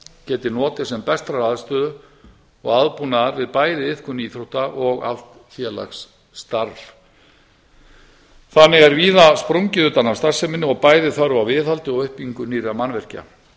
geti notið sem bestrar aðstöðu og aðbúnaðar við bæði iðkun íþrótta og alls félagsstarfs þannig er bæði sprungið utan af starfseminni og bæði þörf á viðhaldi og uppbyggingu nýrra mannvirkja